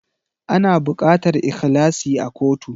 Ana bukatar ikhlasi a kotu